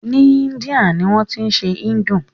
Ni Índia ni wọ́n tí ń ṣe Hindu.